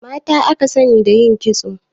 Mata aka sani da yin kitso